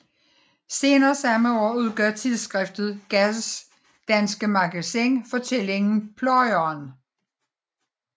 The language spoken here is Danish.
Senere samme år udgav tidsskriftet Gads danske Magasin fortællingen Pløjeren